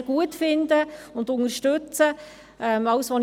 Ich hatte Mühe, einen Ort zu finden, wo man diese ansetzen kann.